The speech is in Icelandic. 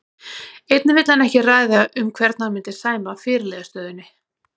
Einnig vildi hann ekki ræða um hvern hann myndi sæma fyrirliðastöðunni.